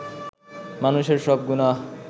মানষের সব গুনাহ